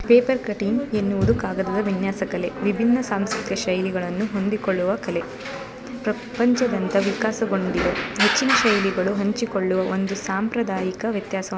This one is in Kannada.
ಪೇಪರ್ ಕಟ್ಟಿಂಗ್ ಅನ್ನುವುದು ಕಾಗದದ ವಿನ್ಯಾಸ ಕಲೆ. ವಿಭಿನ್ನ ಸಾಂಸ್ಕೃತಿಕ ಶೈಲಿಗಳನ್ನು ಹೊಂದಿಕೊಳ್ಳುವ ಕಲೆ ಪ್ರಪಂಚದಂತ ವಿಕಾಸಗೊಂಡಿರೋ ಹೆಚ್ಚಿನ ಶೈಲಿಗಳು ಹಂಚಿಕೊಳ್ಳುವ ಒಂದು ಸಾಂಪ್ರದಾಯಿಕ ವ್ಯತ್ಯಾಸವನ್ನು --